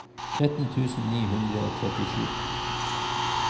tretten tusen ni hundre og trettisju